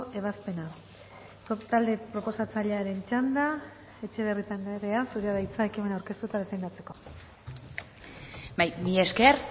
ebazpena talde proposatzailearen txanda etxebarrieta andrea zurea da hitza ekimena aurkeztu eta defendatzeko bai mila esker